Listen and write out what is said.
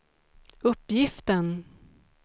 uppgiften